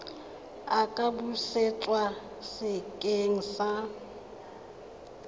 a ka busetswa sekeng sa